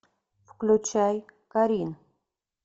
включай карин